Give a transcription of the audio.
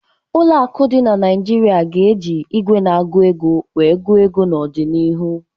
Ụlọ akụ dị na Naịjirịa ga-eji igwe na-agụ ego wee gụọ ego n'ọdịnihu